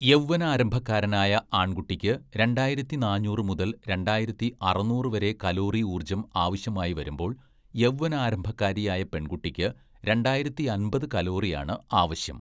"യൗവ്വനാരംഭക്കാരനായ ആണ്‍കുട്ടിക്ക് രണ്ടായിരത്തി നാന്നൂറ് മുതല്‍ രണ്ടായിരത്തി അറുന്നൂറ് വരെ കലോറി ഊര്‍ജ്ജം ആവശ്യമായി വരുമ്പോള്‍ യൗവ്വനാരംഭക്കാരിയായ പെണ്‍കുട്ടിക്ക് രണ്ടായിരത്തിയമ്പത് കലോറിയാണ് ആവശ്യം. "